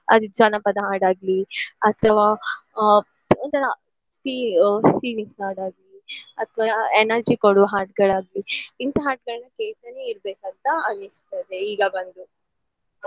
ಅದು ಜಾನಪದ ಹಾಡ್ ಆಗ್ಲಿ ಅಥವಾ ಆ ಒಂತರ fee~ ಆ feelings ಹಾಡ್ ಆಗ್ಲಿ ಅತ್ವ e~ energy ಕೊಡುವ ಹಾಡ್ಗಳಾಗ್ಲಿ ಇಂತ ಹಾಡ್ಗಳನ್ನ ಕೇಳ್ತಾನೆ ಇರ್ಬೇಕಂತ ಅನಿಸ್ತದೆ ಈಗ ಬಂದು.